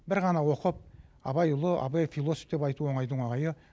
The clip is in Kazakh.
бір ғана оқып абай ұлы абай философ деп айту оңайдың оңайы